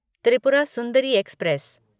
Tripura Sundari express